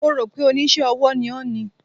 Mo rò pé Oníṣẹ́-ọwọ́ ni ó ni.